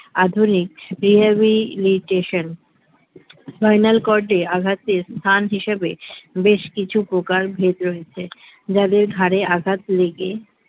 আধুনিক rehabilitation spinal cord এ আঘাতে স্থান হিসেবে বেশ কিছু প্রকারভেদ রয়েছে যাদের ঘাড়ে আঘাত লেগে